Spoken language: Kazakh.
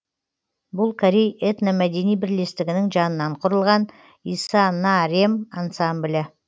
бұл корей этномәдени бірлестігінің жанынан құрылған иса на рем ансамблі